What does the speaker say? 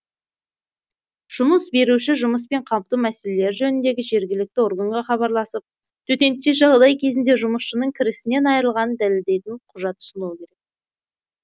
жұмыс беруші жұмыспен қамту мәселелері жөніндегі жергілікті органға хабарласып төтенше жағдай кезінде жұмысшысының кірісінен айырылғанын дәлелдейтін құжат ұсынуы керек